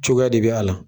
Cogoya de bɛ a la